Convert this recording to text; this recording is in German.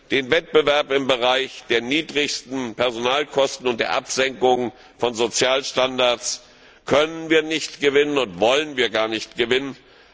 Den Wettbewerb im Bereich der niedrigsten Personalkosten und der Absenkung von Sozialstandards können und wollen wir gar nicht gewinnen.